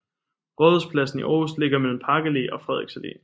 Rådhuspladsen i Aarhus ligger mellem Park Allé og Frederiks Allé